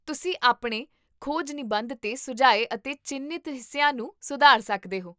ਤੁਸੀਂ ਆਪਣੇ ਖੋਜ ਨਿਬੰਧ 'ਤੇ ਸੁਝਾਏ ਅਤੇ ਚਿੰਨ੍ਹਿਤ ਹਿੱਸਿਆਂ ਨੂੰ ਸੁਧਾਰ ਸਕਦੇ ਹੋ